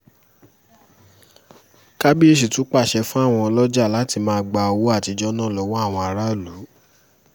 kàbàyèsí tún pàṣẹ fáwọn ọlọ́jà láti máa gba owó àtijọ́ náà lọ́wọ́ àwọn aráàlú